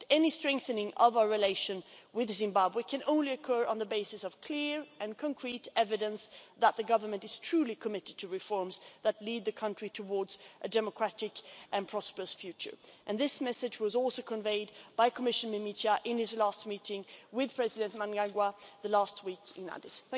But any strengthening of our relations with Zimbabwe can only occur on the basis of clear and concrete evidence that the Government is truly committed to reforms that lead the country towards a democratic and prosperous future, and this message was also conveyed by Commissioner Mimica in his last meeting with President Mnangagwa last week in Addis.